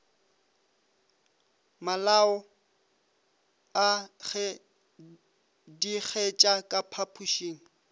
malao a gedigetša ka phapošeng